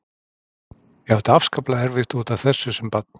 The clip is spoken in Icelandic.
Ég átti afskaplega erfitt út af þessu sem barn.